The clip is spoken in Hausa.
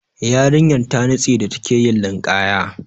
Yarinyan ta nitse da take yin linƙaya.